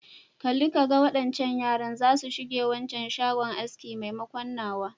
Kalli ka ga, waɗancan yaran zasu shige waccan shagon aski maimakon nawa.